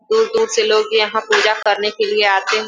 दूर दूर से लोग यहाँ पूजा करने के लिए आते हैं।